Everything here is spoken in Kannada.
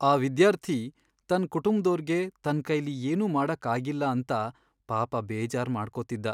ಆ ವಿದ್ಯಾರ್ಥಿ ತನ್ ಕುಟುಂಬ್ದೋರ್ಗೆ ತನ್ಕೈಲಿ ಏನೂ ಮಾಡಕ್ ಆಗಿಲ್ಲ ಅಂತ ಪಾಪ ಬೇಜಾರ್ ಮಾಡ್ಕೊತಿದ್ದ.